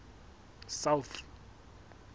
south